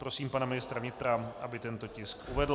Prosím pana ministra vnitra, aby tento tisk uvedl.